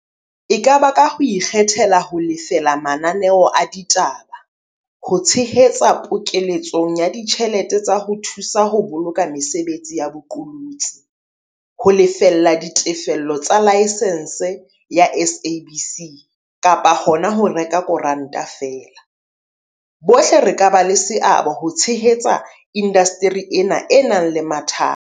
E ka ba ka ho ikgethela ho lefela mananeo a ditaba, ho tshehetsa pokele tsong ya ditjhelete tsa ho thu sa ho boloka mesebetsi ya bo qolotsi, ho lefella ditefello tsa laesense ya SABC kapa hona ho reka koranta feela, bohle re ka ba le seabo ho tshehetsa indasteri ena e nang le mathata.